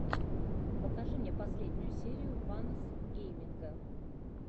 покажи мне последнюю серию ванос гейминга